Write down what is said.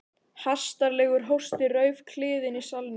Hastarlegur hósti rauf kliðinn í salnum.